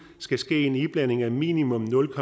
skal ske en iblanding af minimum nul